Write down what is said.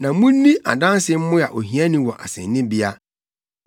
na munni adanse mmoa ohiani wɔ asennibea.